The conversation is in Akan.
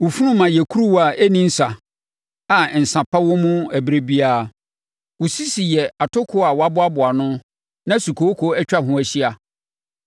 Wo funuma yɛ kuruwa a ɛnni nsa a nsã pa wɔ mu ɛberɛ biara. Wo sisi yɛ atokoɔ a wɔaboa ano na sukooko atwa ho ahyia.